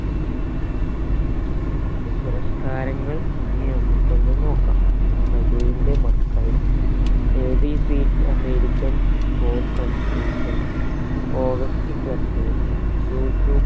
അദ്ദേഹത്തിന്റെ പുരസ്‌ക്കാരങ്ങൾ ഇനി നമ്മക്ക് ഒന്ന് നോക്കാം പ്രഭുവിന്റെ മക്കൾ a b c d american born confusing august club youtube